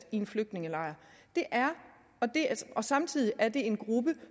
i en flygtningelejr og samtidig er det en gruppe